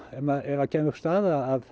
ef það kæmi upp staða að